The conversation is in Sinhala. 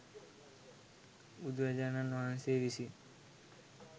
බුදුරජාණන් වහන්සේ විසින්